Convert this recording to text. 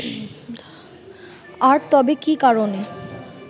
আর তবে কি কারণে